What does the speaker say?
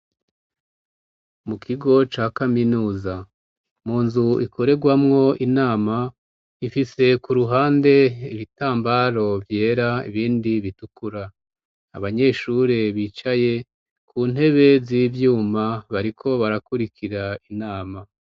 Mu kigo ca kaminusa mu nzu ikoregwamwo inama ifise ku ruhande ibitambaro vyera ibindi bitukura abanyeshure bicaye ku ntebe z'ivyuma bariko barakurikira inama